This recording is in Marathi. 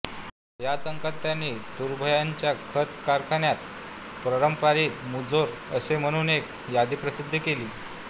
याच अंकात त्यांनी तुर्भ्याच्या खत कारखान्यांत परप्रांतीय मुजोर असे म्हणून एक यादी प्रसिद्ध केली